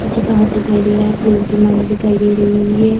किसी का हाथ दिखाई दे रहा है। फूलो की माला दिखाई दे रही है।